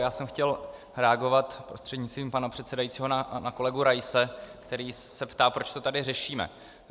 Já jsem chtěl reagovat prostřednictvím pana předsedajícího na kolegu Raise, který se ptá, proč to tady řešíme.